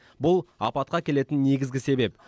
бұл апатқа әкелетін негізгі себеп